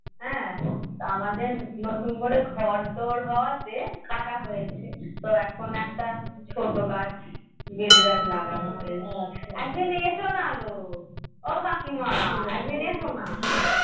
হ্যাঁ তা আমাদের নতুন করে ঘর দুয়ার হওয়া তে কাটা হৈছে এখন একটা ছোট গাছ লাগানো হৈছে একদিন এসো না গো ও কাকিমা একদিন এসো না